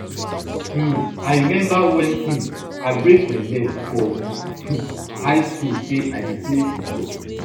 um i remember wen um i break my leg for um high school say i dey play football